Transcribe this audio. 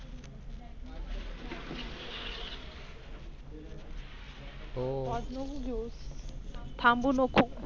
Pause नको घेऊ थांबू नको.